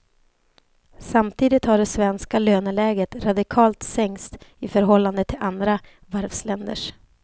Samtidigt har det svenska löneläget radikalt sänkts i förhållande till andra varvsländers.